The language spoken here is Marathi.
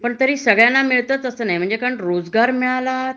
पण तरी सगळ्यांना मिळत तस नाही रोजगार मिळाला